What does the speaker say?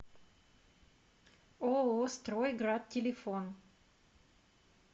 ооо строй град телефон